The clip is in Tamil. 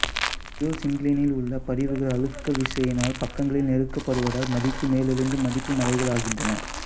ஜீயோசின்கிளைனிலுள்ள படிவுகள் அழுக்க விசையினால் பக்கங்களில் நெருக்கப்படுவதால் மடித்து மேலெழுந்து மடிப்பு மலைகளாகின்றன